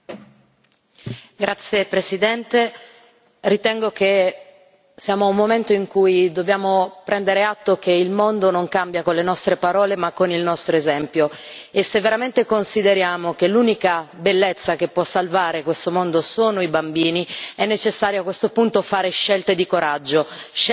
Signor Presidente, onorevoli colleghi, ritengo che siamo giunti a un momento in cui dobbiamo prendere atto che il mondo non cambia con le nostre parole ma con il nostro esempio. Se veramente consideriamo che l'unica bellezza che può salvare questo mondo sono i bambini, è necessario a questo punto fare scelte coraggiose, scelte dovute,